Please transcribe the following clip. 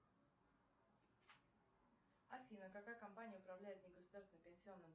афина какая компания управляет негосударственным пенсионным